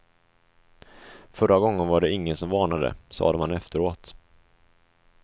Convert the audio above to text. Förra gången var det ingen som varnade, sade man efteråt.